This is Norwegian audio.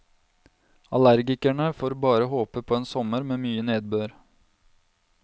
Allergikerne får bare håpe på en sommer med mye nedbør.